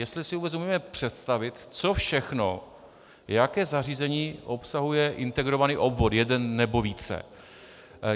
Jestli si vůbec umíme představit, co všechno, jaké zařízení obsahuje integrovaný obvod, jeden nebo více.